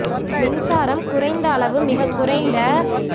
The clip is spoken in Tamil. மின்சாரம் குறைந்த அளவு மிகக் குறைந்த